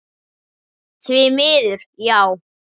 Því miður, já.